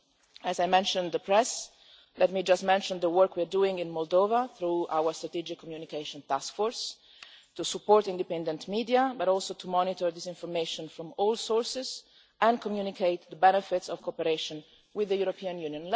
While I am mentioning the press, let me just mention the work we are doing in Moldova through our Strategic Communication Task Force, to support independent media, to monitor disinformation from all sources and to communicate the benefits of cooperation with the European Union.